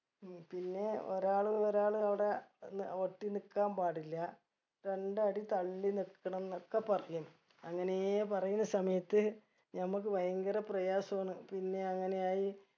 ഉം പിന്നെ ഒരാള് ഒരാള് അവിടെ ന്നെ ഒട്ടി നിക്കാൻ പാടില്ല രണ്ടടി തള്ളി നിക്കണം ന്നൊക്കെ പറയും അങ്ങനേ പറയുന്ന സമയത്ത് നമ്മക്ക് വയങ്കര പ്രയാസാണ് പിന്നെ അങ്ങനെ ആയി